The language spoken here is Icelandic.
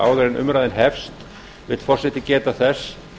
áður en umræðan hefst vill forseti geta þess